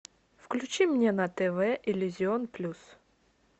включи мне на тв иллюзион плюс